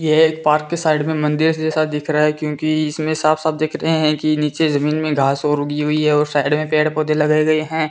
ये एक पार्क के साइड में मंदिर जैसा दिख रहा है क्योंकि इसमे साफ साफ दिख रहे है कि नीचे जमीन में घास ओर उगी हुई है और साइड में पेड़ पोधै लगे गए है।